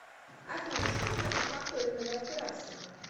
афина что значит факторинговая операция